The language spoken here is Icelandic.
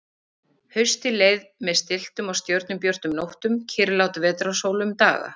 Haustið leið með stilltum og stjörnubjörtum nóttum, kyrrlát vetrarsól um daga.